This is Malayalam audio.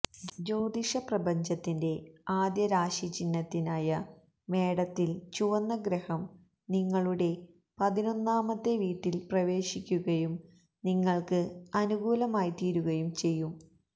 ജ്യോതിഷ പ്രപഞ്ചത്തിന്റെ ആദ്യ രാശിചിഹ്നത്തിനായ മേടത്തില് ചുവന്ന ഗ്രഹം നിങ്ങളുടെ പതിനൊന്നാമത്തെ വീട്ടില് പ്രവേശിക്കുകയും നിങ്ങള്ക്ക് അനുകൂലമായിത്തീരുകയും ചെയ്യും